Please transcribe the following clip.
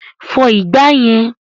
Fọ ìgbà yẹn!